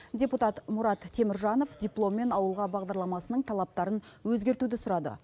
депутат мұрат теміржанов дипломмен ауылға бағдарламасының талаптарын өзгертуді сұрады